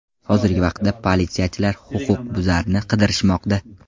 Hozirgi vaqtda politsiyachilar huquqbuzarni qidirishmoqda.